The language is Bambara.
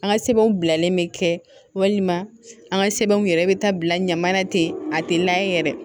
An ka sɛbɛnw bilalen bɛ kɛ walima an ka sɛbɛnw yɛrɛ bɛ taa bila ɲaman na ten a tɛ layɛ yɛrɛ